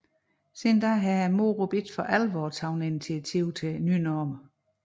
Siden da har MOROP ikke for alvor taget initiativ til normer